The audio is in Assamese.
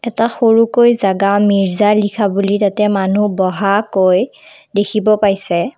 এটা সৰুকৈ জাগা মিৰ্জা লিখা বুলি তাতে মানুহ বহাকৈ দেখিব পাইছে।